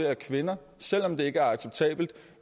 at kvinder selv om det ikke er acceptabelt